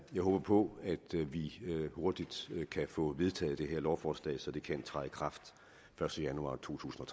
jeg håber på at vi hurtigt kan få vedtaget det her lovforslag så det kan træde i kraft første januar totusinde